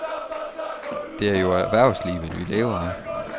Det er jo erhvervslivet vi lever af.